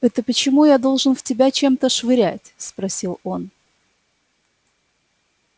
это почему я должен в тебя чем-то швырять спросил он